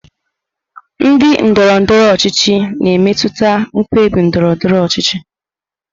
Ndị ndọrọ ndọrọ ọchịchị na-emetụta mkpebi ndọrọ ndọrọ ọchịchị.